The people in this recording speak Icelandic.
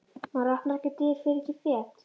Maður opnar ekki dyr, fer ekki fet.